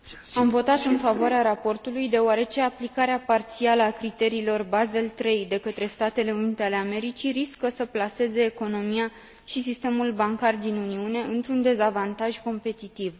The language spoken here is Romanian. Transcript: Am votat în favoarea raportului deoarece aplicarea parțială a criteriilor Basel III de către Statele Unite ale Americii riscă să plaseze economia și sistemul bancar din Uniune într un dezavantaj competitiv.